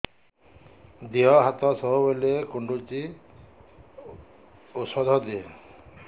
ଦିହ ହାତ ସବୁବେଳେ କୁଣ୍ଡୁଚି ଉଷ୍ଧ ଦେ